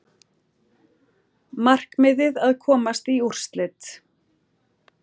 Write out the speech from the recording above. Markmiðið að komast í úrslit